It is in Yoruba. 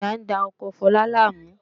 Ọ̀yà ń da oko Fọlá láàmú